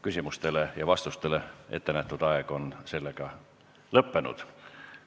Küsimusteks ja vastusteks ettenähtud aeg on lõppenud.